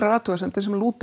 athugasemdir sem lúta að